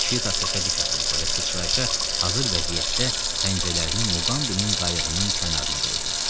Şita səsə dik atıldı və sıçrayışa hazır vəziyyətdə pəncələrini Muqambinin qayığının kənarına qoydu.